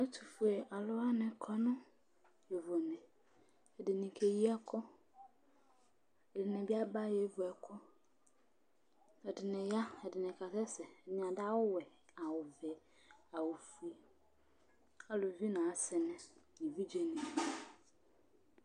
Ɛtʋfue alʋ wanɩ kɔ nʋ yovone Ɛdɩnɩ keyi ɛkʋ Ɛdɩnɩ bɩ aba yevu ɛkʋ Ɛdɩnɩ ya, ɛdɩnɩ kasɛsɛ, ɛdɩnɩ adʋ awʋwɛ, awʋvɛ, awʋfue, aluvi nʋ asɩnɩ nʋ evidzenɩ